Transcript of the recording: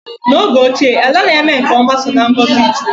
N'oge ochie, ala na-eme nke ọma so n'ngọzị chukwu